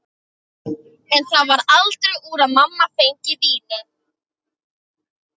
En það varð aldrei úr að mamma fengi vínið.